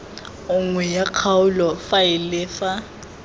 nngwe ya kgaolo faele fa